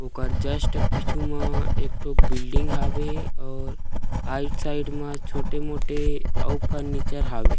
ओकर जस्ट पीछू म एकठो बिल्डिंग हुावे और आइड साइड में छोटे मोटे अउ फर्नीचर हावे।